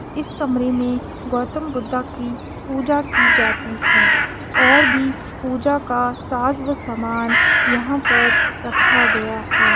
इस कमरे मे गौतम बुद्धा की पूजा की जाती है और भी पूजा का साज समान यहाँ पर रखा गया है।